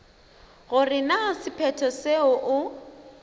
gore na sephetho seo o